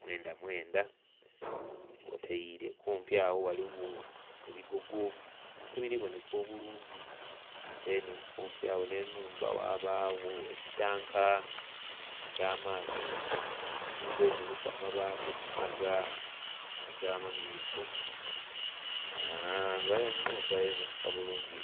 mwenda mwenda kwotaire kumpi agho ghaligho ebigogo ebiri bonheka obulungi. Kumpi agho nh'ennhumba ghabagho ekitanka eky'amaadhi. Nnhumba eno eliku amabaati aga, aga...amamyufu. Ennhumba ebonheka bulungi...